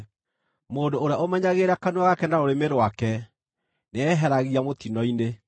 Mũndũ ũrĩa ũmenyagĩrĩra kanua gake na rũrĩmĩ rwake nĩeyeheragia mũtino-inĩ.